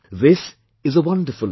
This is a wonderful experience